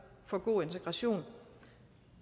for god integration